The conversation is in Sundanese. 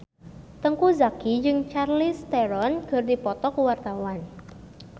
Teuku Zacky jeung Charlize Theron keur dipoto ku wartawan